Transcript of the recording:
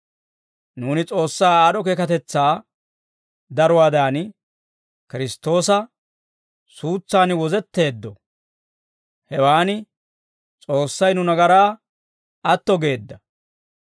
Nuuni S'oossaa aad'd'o keekatetsaa daruwaadan, Kiristtoosa suutsan wozetteeddo; hewan S'oossay nu nagaraa atto geedda.